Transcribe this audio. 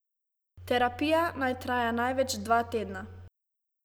Terapija naj traja največ dva tedna.